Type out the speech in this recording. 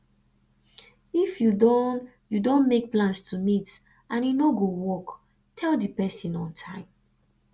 if you don you don make plans to meet and e no go work tell di person on time